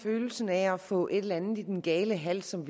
følelsen af at få et eller andet i den gale hals som